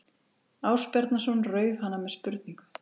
Ásbjarnarson rauf hana með spurningu